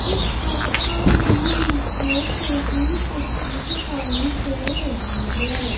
इस फोटो में मुझे टेबिल कुर्सी दिखाई दे रही है।